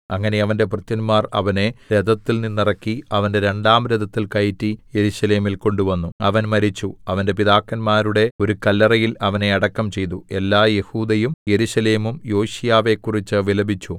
അങ്ങനെ അവന്റെ ഭൃത്യന്മാർ അവനെ രഥത്തിൽനിന്നിറക്കി അവന്റെ രണ്ടാം രഥത്തിൽ കയറ്റി യെരൂശലേമിൽ കൊണ്ടുവന്നു അവൻ മരിച്ചു അവന്റെ പിതാക്കന്മാരുടെ ഒരു കല്ലറയിൽ അവനെ അടക്കം ചെയ്തു എല്ലാ യെഹൂദയും യെരൂശലേമും യോശീയാവെക്കുറിച്ച് വിലപിച്ചു